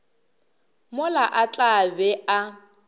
mola a tla be a